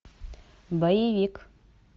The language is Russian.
боевик